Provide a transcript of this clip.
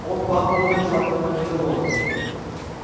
он пах бодрым сладким одеколоном